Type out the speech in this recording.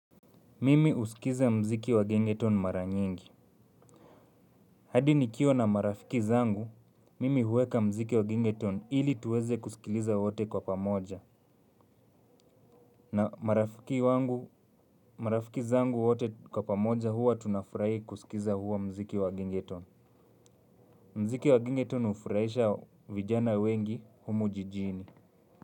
Mimi husikiliza mziki wa 'gengeton' mara nyingi. Hadi nikiwa na marafiki zangu, mimi huweka mziki wa 'gengeton' ili tuweze kusikiliza wote kwa pamoja. Na marafiki wangu, marafiki zangu wote kwa pamoja huwa tunafurahi kusikiliza huo mziki wa 'gengeton'. Mziki wa 'gengeton' hufuraisha vijana wengi humu jijini.